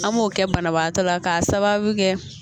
An m'o kɛ banabaatɔ la k'a sababu kɛ